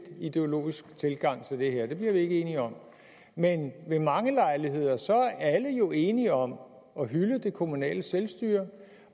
ideologisk tilgang til det her det bliver vi ikke enige om men ved mange lejligheder er alle jo enige om at hylde det kommunale selvstyre